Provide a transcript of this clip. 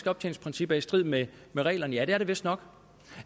optjeningsprincip er i strid med reglerne ja det er det vistnok